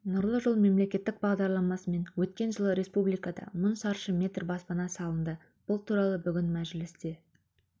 нұрлы жол мемлекеттік бағдарламасымен өткен жылы республикада мың шаршы метр баспана салынды бұл туралы бүгін мәжілісте